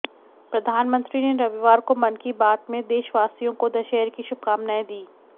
प्रधानमंत्री ने रविवार को मन की बात में देशवासियों को दशहरे की शुभकामाएं दी